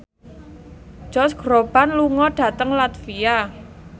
Josh Groban lunga dhateng latvia